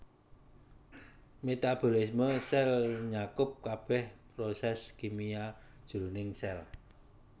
Metabolisme sèl nyakup kabèh prosès kimia jroning sèl